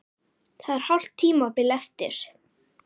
Það er hálft tímabil eftir!